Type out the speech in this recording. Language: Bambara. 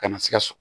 Kana sikaso